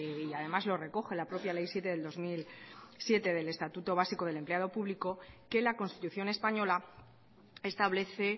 y además lo recoge la propia ley siete del dos mil siete del estatuto básico del empleado público que la constitución española establece